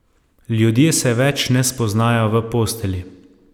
Ljudje se več ne spoznajo v postelji.